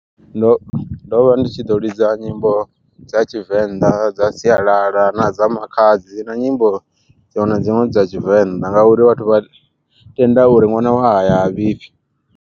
Ndo ndo vha ndi tshi ḓo ḽidza nyimbo dza tshivenḓa dza sialala, na dza makhadzi na nyimbo dziṅwe na dziṅwe dza tshivenḓa uri vhathu vha tenda uri ṅwana wa haya ha vhifhi.